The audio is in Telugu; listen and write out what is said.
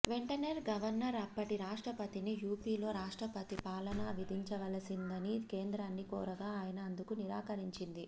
వెంటనే గవర్నర్ అప్పటి రాష్ట్రపతిని యుపిలో రాష్ట్రపతి పాలనా విధించవలసిందని కేంద్రాన్ని కోరగా అయన అందుకు నిరాకరించింది